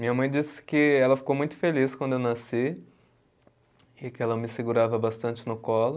Minha mãe disse que ela ficou muito feliz quando eu nasci e que ela me segurava bastante no colo.